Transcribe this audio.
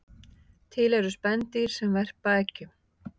Til eru spendýr sem verpa eggjum